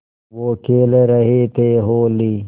वो खेल रहे थे होली